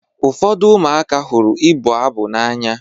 Ụfọdụ ụmụaka hụrụ ịbụ abụ n'anya.